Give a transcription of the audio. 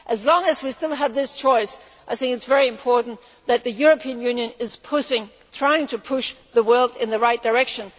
As long as we still have this choice, I think it is very important that the European Union is trying to push the world in the right direction.